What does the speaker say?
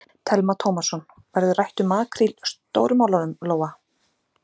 Telma Tómasson: Verður rætt um makríl Stóru málunum, Lóa?